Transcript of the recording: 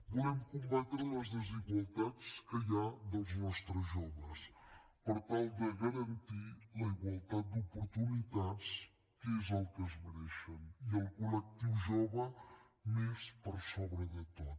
volem combatre les desigualtats que hi ha dels nostres joves per tal de garantir la igualtat d’oportunitats que és el que es mereixen i el col·lectiu jove més per sobre de tot